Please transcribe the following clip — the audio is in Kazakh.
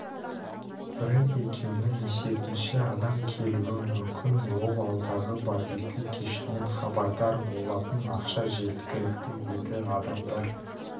брэнд екеуінің есебінше адам келуі мүмкін ол алдағы барбекю кешінен хабардар болатын ақша жеткілікті еді адамдар